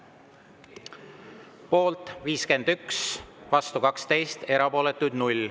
Poolt 51, vastu 12, erapooletuid 0.